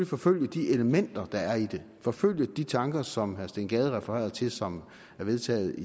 forfølge de elementer der er i det forfølge de tanker som herre steen gade refererede til som er vedtaget